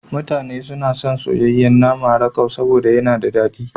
Mutane suna son soyayyen nama rakau saboda yana da dadi.